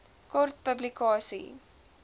kort publikasie